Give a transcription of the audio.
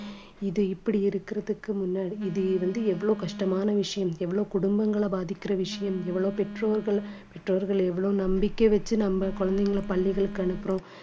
இது இப்படி இருக்கறதுக்கு முன்னாடி இது வந்து எவ்வளவு கஷ்டமான விஷயம் எவ்வளவு குடும்பங்களை பாதிக்கிற விஷயம் எவ்வளவு பெற்றோர்கள் பெற்றோர்கள் எவ்வளவு நம்பிக்கை வச்சு நம்ம குழந்தைகளை பள்ளிகளுக்கு அனுப்புறோம்